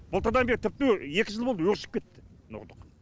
былтырдан бері тіпті екі жыл болды өршіп кетті мына ұрлық